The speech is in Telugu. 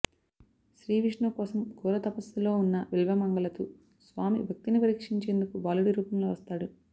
శ్రీ విష్ణువు కోసం ఘోర తపస్సులో ఉన్న విల్వమంగలతు స్వామి భక్తిని పరీక్షించేందుకు బాలుడి రూపంలో వస్తాడు